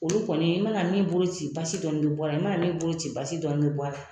Olu kɔni i mana min bolo ci basi dɔɔnin bɛ bɔ a la i manaa min bolo ci basi dɔɔnin bɛ bɔ a la.